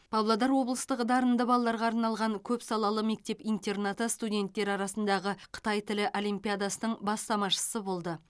павлодар облыстық дарынды балаларға арналған көпсалалы мектеп интернат студенттер арасындағы қытай тілі олимпиадасының бастамашысы болды